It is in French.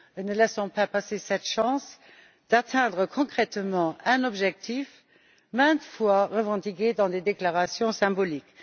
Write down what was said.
Ne laissons pas passer cette chance d'atteindre concrètement un objectif maintes fois revendiqué dans des déclarations symboliques.